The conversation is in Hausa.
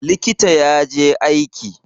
Likita ya je aiki.